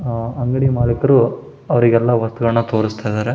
ಆಹ್ಹ್ ಅಂಗಡಿ ಮಾಲೀಕರು ಅವ್ರಿಗೆಲ್ಲ ವಸ್ತುಗಳನ್ನು ತೋರಿಸ್ತಾ ಇದ್ದಾರೆ.